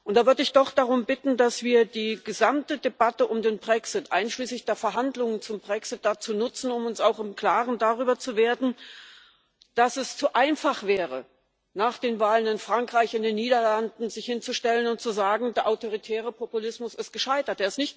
Da würde ich doch darum bitten, dass wir die gesamte Debatte um den Brexit, einschließlich der Verhandlungen zum Brexit, dazu nutzen, uns auch darüber klar zu werden, dass es zu einfach wäre, sich nach den Wahlen in Frankreich und in den Niederlanden hinzustellen und zu sagen Der autoritäre Populismus ist gescheitert.